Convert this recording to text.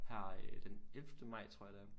Her øh den ellevte maj tror jeg det er